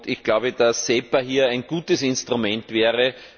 Ich glaube, dass SEPA hier ein gutes Instrument wäre.